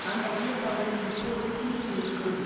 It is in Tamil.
அந்த ஐயப்பாடு இப்போது தீர்ந்து இருக்கும்